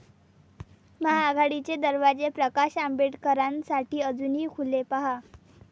महाआघाडीचे दरवाजे प्रकाश आंबेडकरांसाठी अजूनही खुले? पाहा